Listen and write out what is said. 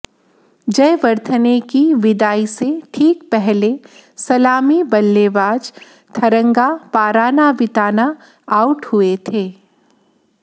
जयवर्धने की विदाई से ठीक पहले सलामी बल्लेबाज थरंगा पारानाविताना आउट हुए थे